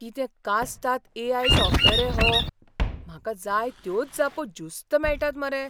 कितें कास्ताद AI. Software रे हो, म्हाका जाय त्योच जापो ज्युस्त मेळटात मरे.